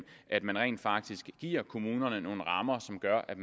at man rent faktisk giver kommunerne nogle rammer som gør at